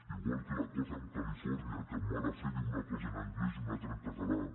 igual que l’acord amb califòrnia que amb mala fe diu una cosa en anglès i una altra en català